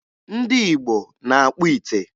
Ndị Igbo na-akpụ ite.